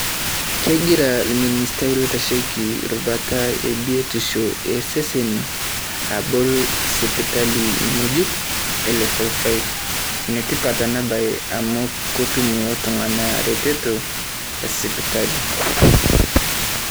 Kegiraa minisitaa loitasheki ilbaata buiitisho e seseni abool sipitali nyejuuk e Level Five. Netipat ena baye amu kotuum oltung'anak retoto e sipitali.